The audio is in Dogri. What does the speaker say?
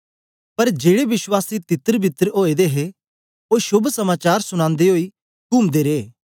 पर जेड़े विश्वासी तितरबितर ओए दे हे ओ शोभ समाचार सुनांदे ओई कुमदे रे